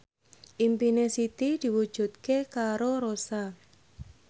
impine Siti diwujudke karo Rossa